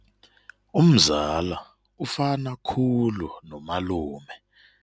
Umzala ufana khulu nomalume.